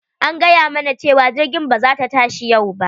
An gayamana cewa jirgin ba za ta tashi yau ba,